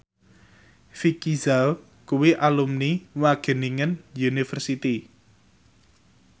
Vicki Zao kuwi alumni Wageningen University